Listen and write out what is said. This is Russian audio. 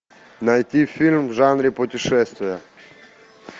найти фильм в жанре путешествия